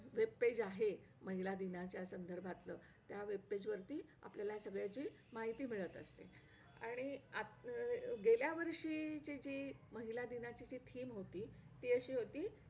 webpage आहे महिला दिनाच्या संदर्भांच त्या webpage वरती आपल्याला सगळ्याची माहित मिळत आहे आणि अं गेल्यावर्षी ची जी महिला दिनाची जी theme होती ती अशी होती